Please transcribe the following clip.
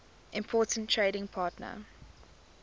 important trading partner